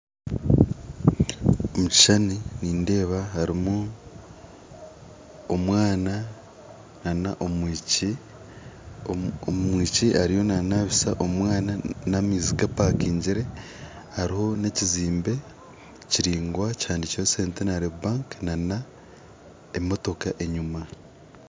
Omukishushani nindeeba harimu omwana nana omwishiki omwishiki ariyo nanabisa omwana namaizi gapakingire hariho nana ekizimbe enyuma kihandikireho centinary bank nana emotoka enyuma.